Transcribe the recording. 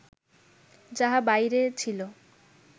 যাহা বাহিরে ছিল